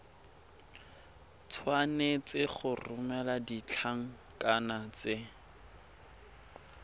tshwanetse go romela ditlankana tse